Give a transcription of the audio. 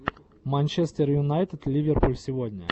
манчестер юнайтед ливерпуль сегодня